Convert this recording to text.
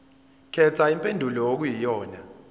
khetha impendulo okuyiyona